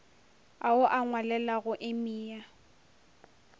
ao o a ngwalelago emia